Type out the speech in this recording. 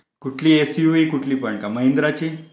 कुठली S U V कुठलीपण महिंद्राची?